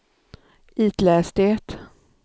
itläs det